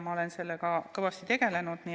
Ma olen sellega kõvasti tegelenud.